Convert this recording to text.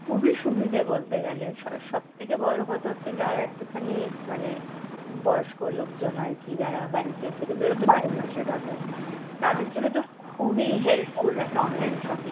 খুবই সুবিধে বলতে গেলে, স~ সব থেকে বড় কথা হচ্ছে যারা একটুখানি মানে বয়স্ক লোকজন আর কি যারা বাড়িতে থেকে বেরোতে পারে না সেভাবে, তাদের জন্য তো খুবই helpful একটা online shopping